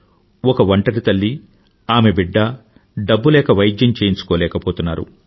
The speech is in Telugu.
ఒక ఒంటరి తల్లి ఆమె బిడ్డ డబ్బు లేక వైద్యం చేయించుకోలేకపోతున్నారు